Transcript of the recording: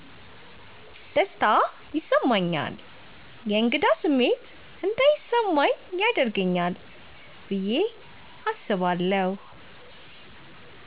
ደስታ ይሰማኛል የእንግዳ ስሜት እንዳይስማኚ ያደርገኛል ብየ አስባለሁ።